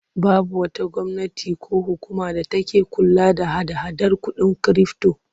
Babu wata gwamnati ko hukuma da take kula da hada-hadar kuɗin kirifto.